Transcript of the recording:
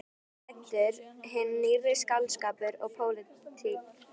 Þarna var ræddur hinn nýrri skáldskapur og pólitík.